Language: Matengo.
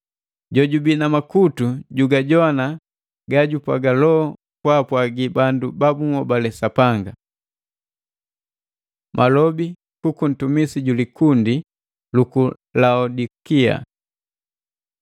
“Jojubi na makutu, jugajogwana ga jupwaga Loho kwaapwagi bandu babunhobale Sapanga!” Malobi kuku ntumisi juli likundi luku Laodikia